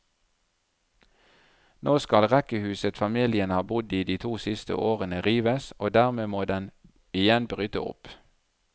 Nå skal rekkehuset familien har bodd i de to siste årene rives, og dermed må den igjen bryte opp.